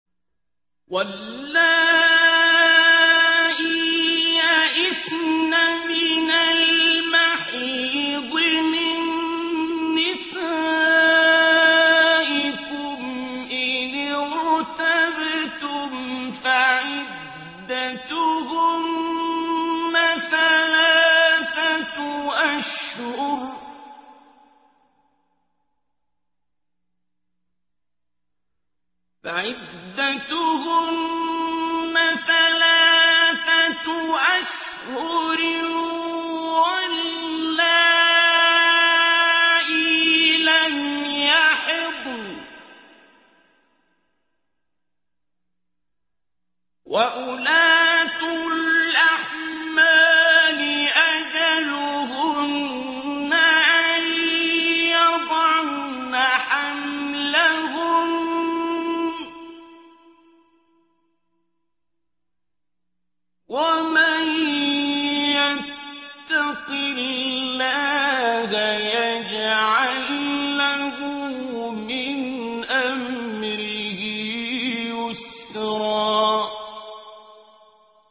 وَاللَّائِي يَئِسْنَ مِنَ الْمَحِيضِ مِن نِّسَائِكُمْ إِنِ ارْتَبْتُمْ فَعِدَّتُهُنَّ ثَلَاثَةُ أَشْهُرٍ وَاللَّائِي لَمْ يَحِضْنَ ۚ وَأُولَاتُ الْأَحْمَالِ أَجَلُهُنَّ أَن يَضَعْنَ حَمْلَهُنَّ ۚ وَمَن يَتَّقِ اللَّهَ يَجْعَل لَّهُ مِنْ أَمْرِهِ يُسْرًا